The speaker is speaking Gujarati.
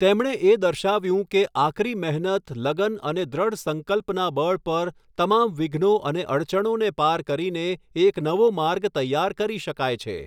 તેમણે એ દર્શાવ્યું કે આકરી મહેનત, લગન અને દૃઢ સંકલ્પના બળ પર તમામ વિઘ્નો અને અડચણોને પાર કરીને એક નવો માર્ગ તૈયાર કરી શકાય છે.